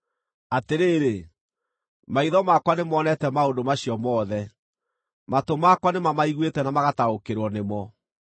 “Atĩrĩrĩ, maitho makwa nĩmonete maũndũ macio mothe, matũ makwa nĩmamaiguĩte na magataũkĩrwo nĩmo.